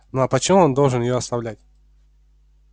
ну а по чём он должен её оставлять